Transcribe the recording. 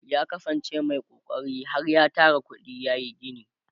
ya kasan ce Mai kokari har ya Tara kuɗi yayi gini